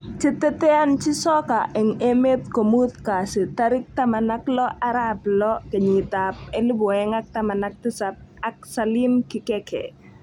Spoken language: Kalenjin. Cheteteanjin soka eng emet komut kasi 16.06.2017 ak Salim Kikeke